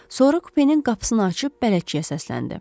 Sonra kupenin qapısını açıb bələdçiyə səsləndi.